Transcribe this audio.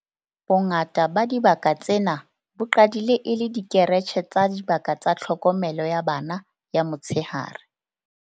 Bongata ba dibaka tsena bo qadile e le dikeretjhe le dibaka tsa tlhokomelo ya bana ya motsheare.